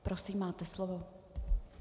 Prosím, máte slovo.